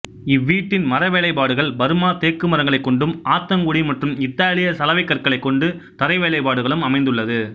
இவ்வீட்டின் மரவேலைப்பாடுகள் பர்மா தேக்கு மரங்களைக் கொண்டும் ஆத்தங்குடி மற்றும் இத்தாலிய சலவை கற்களைக் கொண்டு தரை வேலைப்பாடுகளும் அமைந்துள்ளது